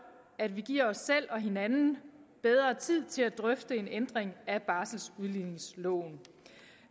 at vi giver os selv og hinanden bedre tid til at drøfte en ændring af barseludligningsloven